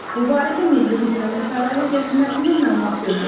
Bu barədə Milli Hidrometeorologiya Xidmətindən məlumat verilib.